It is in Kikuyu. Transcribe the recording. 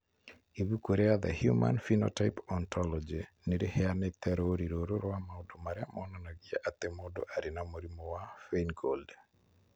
Ibuku rĩa The Human Phenotype Ontology nĩ rĩheanĩte rũũri rũrũ rwa maũndũ marĩa monanagia atĩ mũndũ arĩ na mũrimũ wa Feingold.